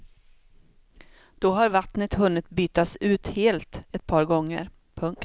Då har vattnet hunnit bytas ut helt ett par gånger. punkt